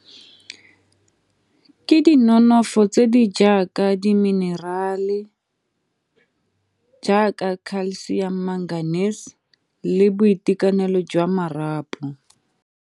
Ke dinonofo tse di jaaka diminerale jaaka calcium magnesium le boitekanelo jwa marapo.